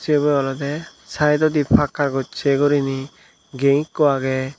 sibe olode saidodi pakkar gochi guriney gate ekku agey.